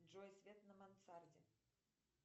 джой свет на мансарде